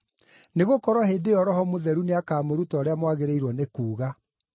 nĩgũkorwo hĩndĩ ĩyo Roho Mũtheru nĩakamũruta ũrĩa mwagĩrĩirwo nĩ kuuga.”